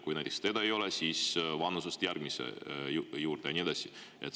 Kui teda aga siin ei ole, siis vanuselt järgmise juurde ja nii edasi.